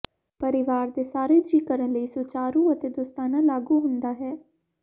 ਪਰਿਵਾਰ ਦੇ ਸਾਰੇ ਜੀਅ ਕਰਨ ਲਈ ਸੁਚਾਰੂ ਅਤੇ ਦੋਸਤਾਨਾ ਲਾਗੂ ਹੁੰਦਾ ਹੈ